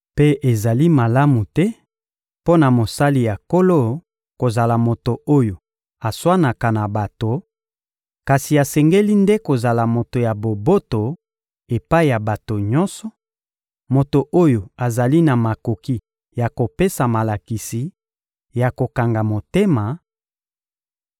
Mpe ezali malamu te mpo na mosali ya Nkolo kozala moto oyo aswanaka na bato, kasi asengeli nde kozala moto ya boboto epai ya bato nyonso, moto oyo azali na makoki ya kopesa malakisi, ya kokanga motema